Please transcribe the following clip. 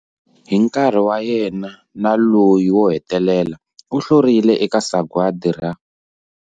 Hi nkarhi wa yena na loyi wo hetelela, u hlurile eka sagwadi ra